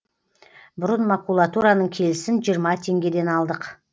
бұрын макулатураның келісін жиырма теңгеден алдық